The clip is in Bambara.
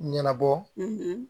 Ɲɛnabɔ